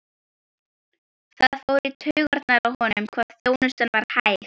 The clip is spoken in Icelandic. Það fór í taugarnar á honum hvað þjónustan var hæg.